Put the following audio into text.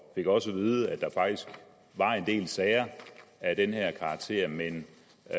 fik også at vide at der faktisk var en del sager af den her karakter men